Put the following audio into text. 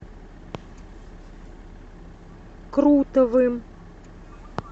крутовым